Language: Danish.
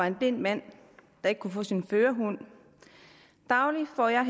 en blind mand der ikke kunne få sin førerhund dagligt får jeg